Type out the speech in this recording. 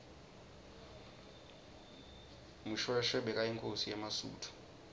mushoeshoe bekayinkhosi yemasuthu